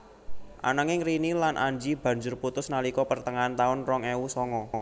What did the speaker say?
Ananging Rini lan Anji banjur putus nalika pertengahan taun rong ewu songo